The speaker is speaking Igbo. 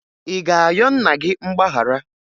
Ị ga-ayọ nna gị mgbaghara?